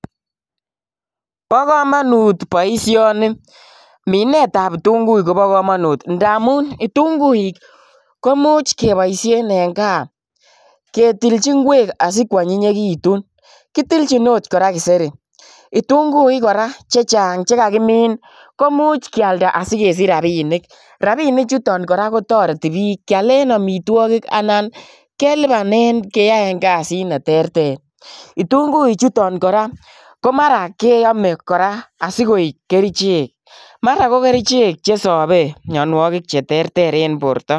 bo komanut boisioni . minet ab kitunguik kobo komonut amu kitunguik ko much keboishen eng kaa ketiji ngwek asikwonyiyitu . kitunguik kora ko much kealda sikesiche rabinik che torete kealin amitwogik ak kelabane keae kasit ne terter . kitunguik chuto korak keame asikoekkerichek che terter eng borto